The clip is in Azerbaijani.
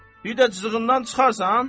Bir də cızığından çıxarsan?